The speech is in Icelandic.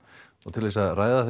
til þess að ræða